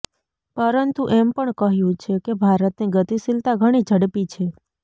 પરંતુ એમ પણ કહ્યું છે કે ભારતની ગતિશીલતા ઘણી ઝડપી છે